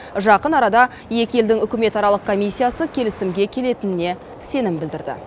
жақын арада екі елдің үкіметаралық комиссиясы келісімге келетініне сенім білдірді